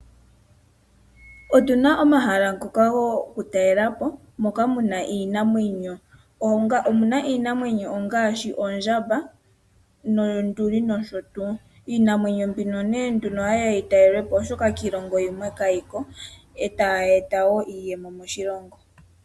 Otuna omahala ngoka gokutalela po moka Omuna iinamwenyo ngaashi ondjamba, noonduli nosho tuu. Iinamwenyo nee nduno ohayi ya yitalelwe Po, oshoka kiilongo yimwe kayi ko, ohayi eta wo iiyemo.